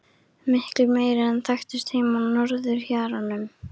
Miklu meiri en þekktist heima á norðurhjaranum.